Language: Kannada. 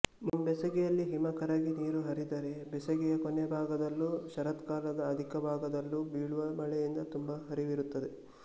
ಮುಂಬೇಸಗೆಯಲ್ಲಿ ಹಿಮ ಕರಗಿ ನೀರು ಹರಿದರೆ ಬೇಸಗೆಯ ಕೊನೆಭಾಗದಲ್ಲೂ ಶರತ್ಕಾಲದ ಆದಿಭಾಗದಲ್ಲೂ ಬೀಳುವ ಮಳೆಯಿಂದ ತುಂಬು ಹರಿವಿರುತ್ತದೆ